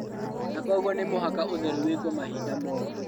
Na kwoguo nĩ mũhaka ũtheru wĩkwo mahinda mothe